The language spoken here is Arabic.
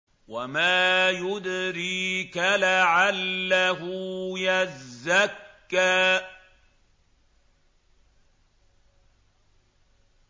وَمَا يُدْرِيكَ لَعَلَّهُ يَزَّكَّىٰ